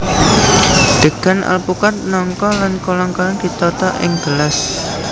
Degan alpukad nangka lan kolang kaling ditata ing gelas